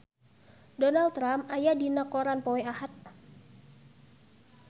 Donald Trump aya dina koran poe Ahad